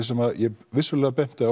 sem ég vissulega benti